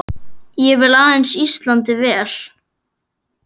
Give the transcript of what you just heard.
Ég vil aðeins Íslandi vel.